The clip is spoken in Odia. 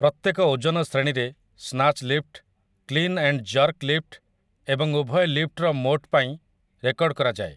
ପ୍ରତ୍ୟେକ ଓଜନ ଶ୍ରେଣୀରେ, snatch lift, 'clean and jerk' lift ଏବଂ ଉଭୟ ଲିଫ୍ଟର ମୋଟ ପାଇଁ ରେକର୍ଡ ରଖାଯାଏ ।